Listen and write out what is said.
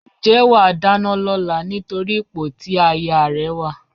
Ǹjẹ́ wà á dáná lọ́la nítorí ipò tí ayaà rẹ wà?